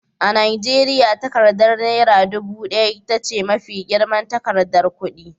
A Najeriya, takardar Naira ɗubu ɗaya ita ce mafi girman takardar kudi.